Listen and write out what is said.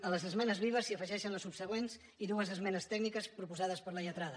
a les esmenes vives s’hi afegeixen les subsegüents i dues esmenes tècniques proposades per la lletrada